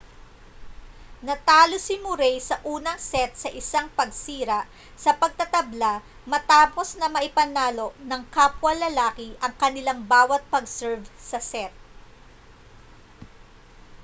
natalo si murray sa unang set sa isang pagsira sa pagtatabla matapos na maipanalo ng kapwa lalaki ang kanilang bawa't pag-serve sa set